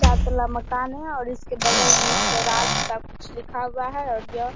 चार तल्ला मकान है और इसके बगल में एक स्वराज सा कुछ लिखा है और ये --